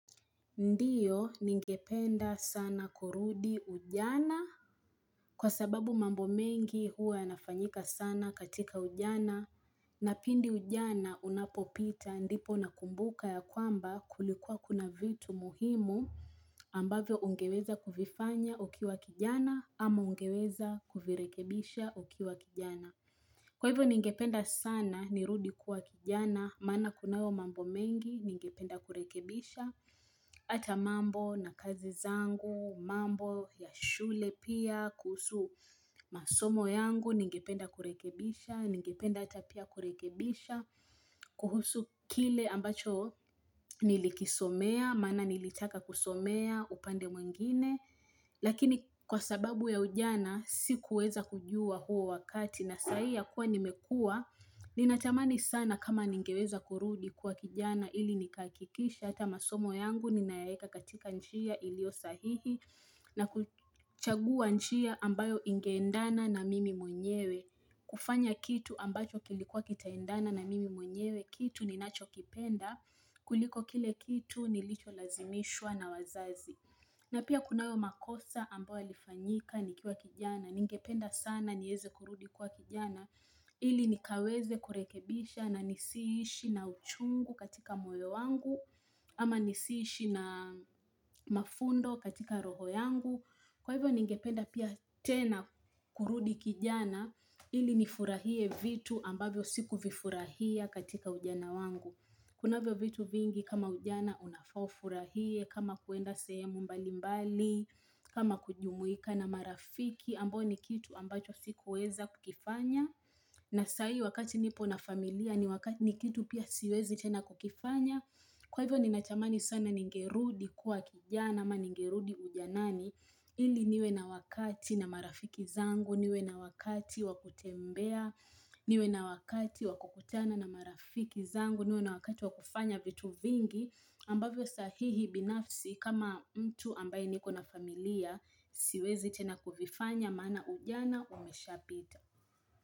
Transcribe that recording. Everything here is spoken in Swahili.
Ndio ningependa sana kurudi ujana kwa sababu mambo mengi huwa yanafanyika sana katika ujana na pindi ujana unapopita ndipo na kumbuka ya kwamba kulikuwa kuna vitu muhimu ambavyo ungeweza kuvifanya ukiwa kijana ama ungeweza kuvirekebisha ukiwa kijana. Kwa hivyo ningependa sana, nirudi kuwa kijana, mana kunayo mambo mengi, ningependa kurekebisha, ata mambo na kazi zangu, mambo ya shule pia, kuhusu masomo yangu, ningependa kurekebisha, ningependa ata pia kurekebisha, kuhusu kile ambacho nilikisomea, mana nilitaka kusomea, upande mwengine. Lakini kwa sababu ya ujana si kuweza kujua huo wakati na sahii ya kuwa nimekua Ninatamani sana kama ningeweza kurudi kwa kijana ili nikahakikisha Hata masomo yangu ninaeka katika njia ilio sahihi na kuchagua nchia ambayo ingeendana na mimi mwenyewe kufanya kitu ambacho kilikuwa kitaendana na mimi mwenyewe Kitu ninacho kipenda kuliko kile kitu nilicho lazimishwa na wazazi na pia kunayo makosa ambayo talifanyika nikiwa kijana, ningependa sana nieze kurudi kwa kijana, ili nikaweze kurekebisha na nisiishi na uchungu katika moyo wangu, ama nisiishi na mafundo katika roho yangu. Kwa hivyo ningependa pia tena kurudi kijana ili nifurahie vitu ambavyo siku vifurahia katika ujana wangu Kuna vyo vitu vingi kama ujana unafa ufurahie kama kuenda sehemu mbalimbali kama kujumuika na marafiki ambao ni kitu ambacho sikuweza kukifanya na sahii wakati nipo na familia ni kitu pia siwezi tena kukifanya Kwa hivyo ninatamani sana ningerudi kuwa kijana ama ningerudi ujanani ili niwe na wakati na marafiki zangu, niwe na wakati wa kutembea, niwe na wakati wa kukutana na marafiki zangu, niwe na wakati wa kufanya vitu vingi ambavyo sahihi binafsi kama mtu ambaye niko na familia siwezi tena kuvifanya mana ujana umesha pita.